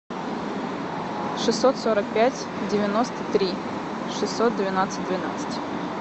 шестьсот сорок пять девяносто три шестьсот двенадцать двенадцать